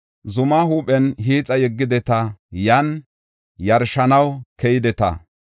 Zumaa huuphen hiixa yeggideta; yan yarshanaw keydeta.